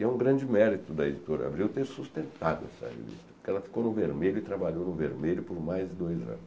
E é um grande mérito da editora Abril ter sustentado essa revista, porque ela ficou no vermelho e trabalhou no vermelho por mais de dois anos.